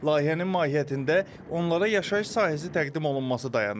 Layihənin mahiyyətində onlara yaşayış sahəsi təqdim olunması dayanır.